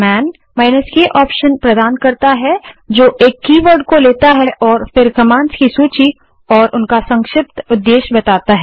man k option प्रदान करता है जो एक कीवर्ड को लेता है और फिर कमांड्स की सूची और उनका संक्षिप्त उद्देश्य बताता है